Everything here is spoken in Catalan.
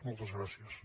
moltes gràcies